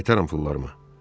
Qaytarın pullarımı.